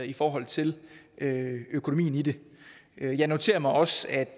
i forhold til økonomien i det jeg noterer mig også at